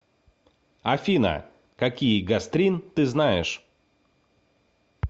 афина какие гастрин ты знаешь